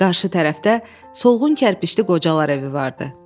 Qarşı tərəfdə solğun kərpişli qocalar evi vardı.